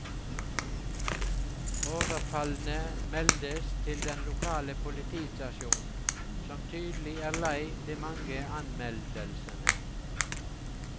Overfallene meldes til den lokale politistasjonen, som tydelig er lei de mange anmeldelsene.